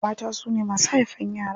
Mata su ne masu haifan yara.